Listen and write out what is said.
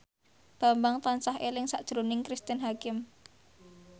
Bambang tansah eling sakjroning Cristine Hakim